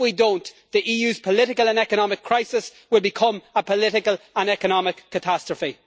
If we do not do so, the EU's political and economic crisis will become a political and economic catastrophe.